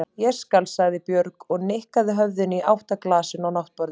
Ég skal, sagði Björg og nikkaði höfðinu í átt að glasinu á náttborðinu.